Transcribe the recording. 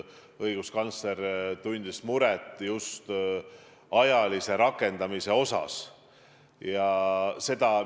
Õiguskantsler tundis muret just rakendamise ajagraafiku pärast.